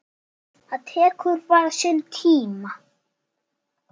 Það tekur bara sinn tíma.